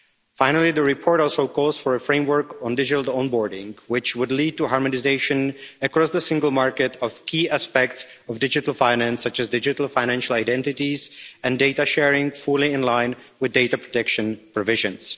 Finally, the report also calls for a framework on digital onboarding, which would lead to harmonisation across the single market of key aspects of digital finance, such as digital financial identities and data sharing fully in line with data protection provisions.